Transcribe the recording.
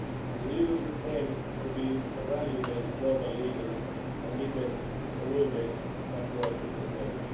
and interests. The EU should aim to be a values based global leader and defend a rules based